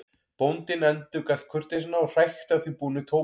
Bóndinn endurgalt kurteisina og hrækti að því búnu tóbakslegi snöggt á hlaðið.